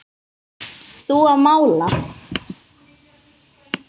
Þú að mála.